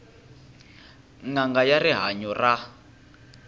n anga ya rihanyu ra